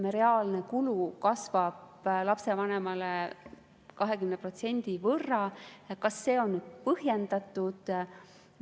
Kui reaalne kulu kasvab lapsevanemale, ütleme, 20% võrra, kas see on põhjendatud?